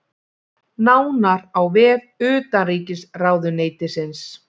Nánar á vef utanríkisráðuneytisins